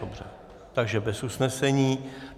Dobře, takže bez usnesení.